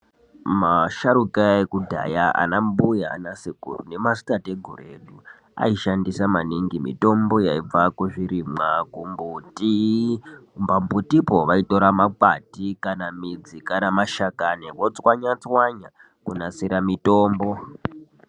Masharuka ekudhaya anambuya naanasekuru nemadzitateguru edu aishandisa maningi mitombo yaibva kuzvirimwa, kumbuti. Pambutipo vaitora makwati kana midzi kana mashakani votswanya tswanya kunasira mitombo.